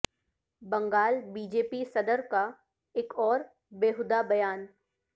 Bengal B J P صدر کا ایک اور بیہودہ بیان